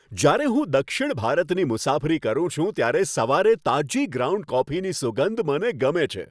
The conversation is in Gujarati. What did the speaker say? જ્યારે હું દક્ષિણ ભારતની મુસાફરી કરું છું ત્યારે સવારે તાજી ગ્રાઉન્ડ કોફીની સુગંધ મને ગમે છે.